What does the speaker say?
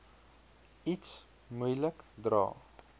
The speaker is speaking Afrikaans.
iets moeilik dra